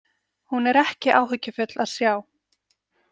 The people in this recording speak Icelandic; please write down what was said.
Hún er ekki áhyggjufull að sjá.